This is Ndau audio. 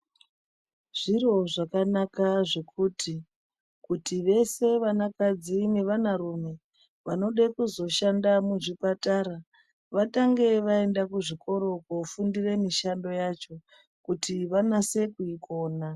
Zviro zvakanaka zvekuti kuti vese vanakadzi nevanarume vanode kuzoshanda muzvipatara vatange vaenda kuzvikora kofunde mishando yacho kuti vanase kuikona .